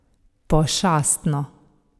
Pošastno!